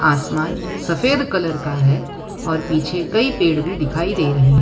आसमान सफेद कलर का है और पीछे कई पेड़ भी दिखाई दे रहे --